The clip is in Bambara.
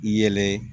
I yɛlɛ